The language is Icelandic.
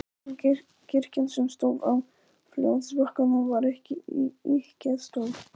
Kirkjan, sem stóð á fljótsbakkanum, var ekki ýkja stór.